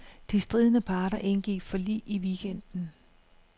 De stridende parter indgik forlig i weekenden.